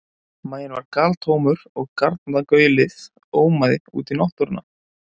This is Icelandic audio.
Maginn var galtómur og garna- gaulið ómaði út í náttúruna.